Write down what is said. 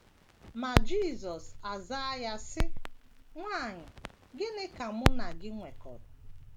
Ma Jisọs azaa ya, sị: “ Nwanyị, gịnị ka Mụ na gị nwekọrọ?